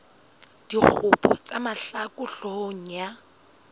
dikgopo tsa mahlaku hloohong ya